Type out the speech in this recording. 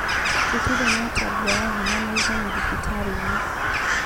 Tũtire na ũtambia wa hinya mũiganu thibitari-inĩ